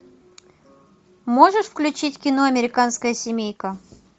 можешь включить кино американская семейка